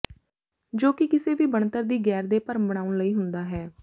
ਜੋ ਕਿ ਕਿਸੇ ਵੀ ਬਣਤਰ ਦੀ ਗੈਰ ਦੇ ਭਰਮ ਬਣਾਉਣ ਲਈ ਹੁੰਦਾ ਹੈ